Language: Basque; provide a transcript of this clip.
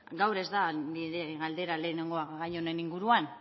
gaur ez da nire galdera lehenengoa gai honen inguruan